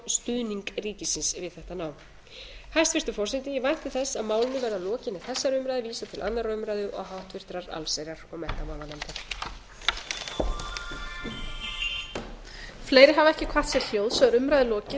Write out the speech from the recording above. fjárstuðning ríkisins við þetta nám hæstvirtur forseti ég vænti þess að málinu verði að lokinni þessari umræðu vísað til annarrar umræðu og háttvirtrar allsherjar og menntamálanefndar